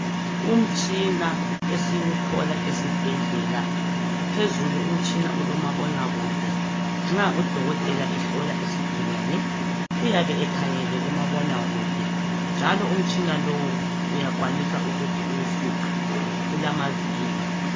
Umtshina esiwuthola esibhedlela, phezulu umtshina ulomabonakude. Nxa udokotela ehlola isigulane uyabe ekhangele kumabonakude njalo umtshina lowu uyakwanisa ukuthi uwufuqe ulamavili.